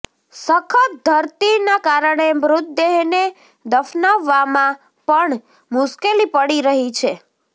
સખત ધરતીના કારણે મૃતદેહને દફનાવવામાં પણ મુશ્કેલી પડી રહી છે